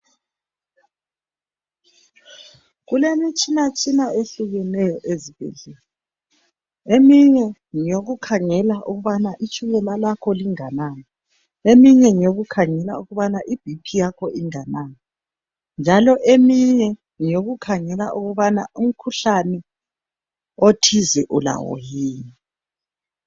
Kulemitshina tshina ehlukeneyo ezibhedlela eminye ngeyokukhangela ukubana itshukela lakho linganani eminye ngeyokukhangela ukubana i"bp"yakho inganani njalo eminye ngeyokukhangela ukubana umkhuhlane othize ulawo yini.